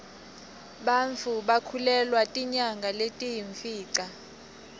bantfu bakhulelwa tinyanga letiyimfica